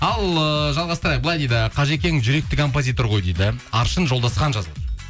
ал ыыы жалғастырайық былай дейді қажекең жүректі композитор ғой дейді аршын жолдасхан жазып отыр